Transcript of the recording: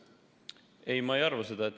Ei, ma ei arva seda.